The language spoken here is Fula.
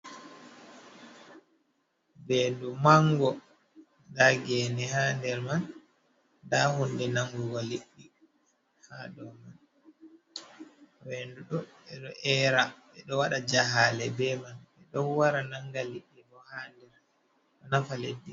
Vendu mango, nda gene haa nder man. Nda hunde nangugo liɗɗi haa dou man. Vendu ɗo ɓe ɗo era, be ɗo waɗa jahaale be man, ɓe ɗon wara nanga liɗɗi bo haa nder. Ɗo nafa leddi.